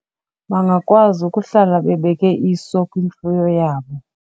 Bangakwazi ukuhlala bebeke iso kwimfuyo yabo.